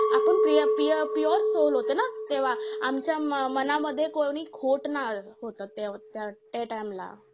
आपण पी अं पी अं pure soul होते ना तेव्हा. आमच्या मनामध्ये कोणी खोट नाही होतं. ते ते त्या time ला.